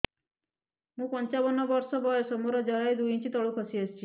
ମୁଁ ପଞ୍ଚାବନ ବର୍ଷ ବୟସ ମୋର ଜରାୟୁ ଦୁଇ ଇଞ୍ଚ ତଳକୁ ଖସି ଆସିଛି